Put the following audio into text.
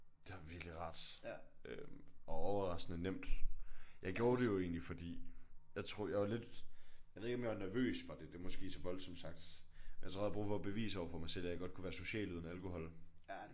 Det har virkelig været rart øh og overraskende nemt. Jeg gjorde det jo egentlig fordi jeg tror jeg var lidt jeg ved ikke om jeg var nervøs for det det er måske så voldsomt sagt. Jeg tror jeg havde brug for at bevise overfor mig selv at jeg godt kunne være social uden alkohol